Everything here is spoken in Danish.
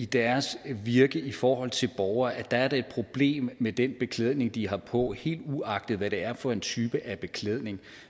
deres virke i forhold til borgere er et problem med den beklædning de har på helt uagtet hvad det er for en type af beklædning